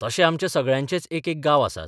तशे आमच्या सगळ्यांचेच एकेक गांव आसात.